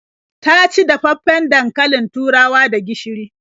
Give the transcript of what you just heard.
Ta ci dafaffen dankalin turawa da gishiri.